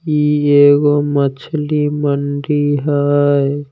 ई एगो मछली मंडी हई।